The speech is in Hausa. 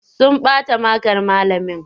Sun bata makar malamin.